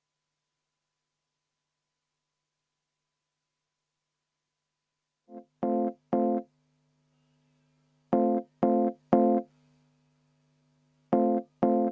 Aitäh!